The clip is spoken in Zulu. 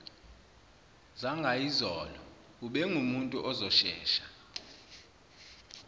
zangayizolo ubengumuntu ozoshesha